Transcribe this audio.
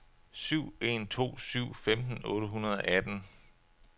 syv en to syv femten otte hundrede og atten